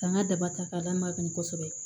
Ka n ka daba ta k'a d'an ma kan kosɛbɛ